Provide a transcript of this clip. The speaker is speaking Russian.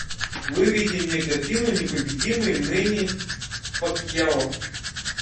выведи мне картину непобедимый мэнни пакьяо